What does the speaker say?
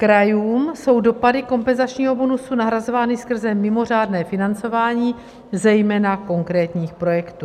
Krajům jsou dopady kompenzačního bonusu nahrazovány skrze mimořádné financování zejména konkrétních projektů.